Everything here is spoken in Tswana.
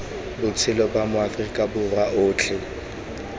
botshelo ba maaforika borwa otlhe